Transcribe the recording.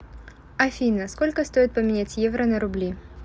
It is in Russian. афина сколько стоит поменять евро на рубли